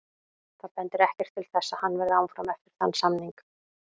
Það bendir ekkert til þess að hann verði áfram eftir þann samning.